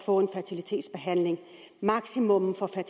få en fertilitetsbehandling maksimumprisen